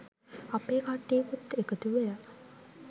අපේ කට්ටියකුත් එකතු වෙලා